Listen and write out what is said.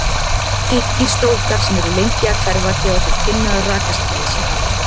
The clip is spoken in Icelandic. Þykkir strókar sem eru lengi að hverfa gefa til kynna að rakastigið sé hátt.